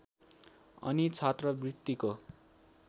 अनि छात्रबृत्तिको